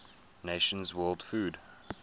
nations world food